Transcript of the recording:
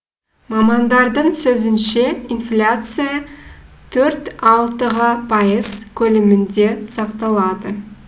мамандардың сөзінше инфляция төрт алтыға пайыз көлемінде сақталады